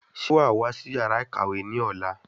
Sé wàá wá sí yàrá ìkàwé ní ọ̀la?